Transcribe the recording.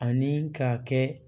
Ani ka kɛ